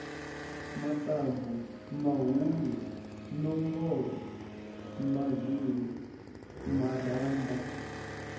maṱamvu mahuyu nombelo mazwilu maramba